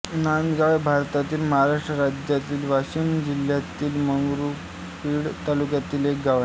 नांदगाव हे भारतातील महाराष्ट्र राज्यातील वाशिम जिल्ह्यातील मंगरुळपीर तालुक्यातील एक गाव आहे